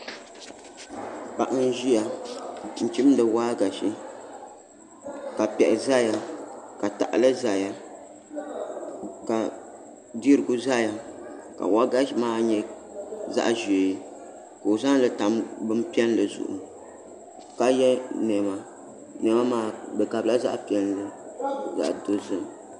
Paɣa n ʒiya n chimdi waagashe ka piɛɣu ʒɛya ka tahali ʒɛya ka dirigu ʒɛya ka waagashe maa nyɛ zaɣ ʒiɛ ka o zaŋli tam bin piɛlli zuɣu ka yɛ niɛma niɛma maa di gabila zaɣ piɛlli ni zaɣ dozim